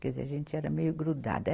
Quer dizer, a gente era meio grudada.